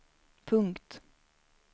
punkt